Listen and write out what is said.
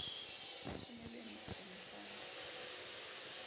leshome le metso e mehlano